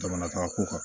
Jamana ka ko kan